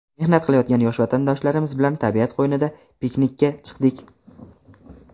mehnat qilayotgan yosh vatandoshlarimiz bilan tabiat qo‘ynida piknikka chiqdik.